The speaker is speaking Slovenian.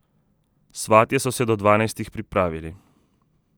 Svatje so se do dvanajstih pripravili.